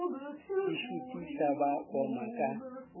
di šutiša ba oma ka